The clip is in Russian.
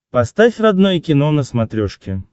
поставь родное кино на смотрешке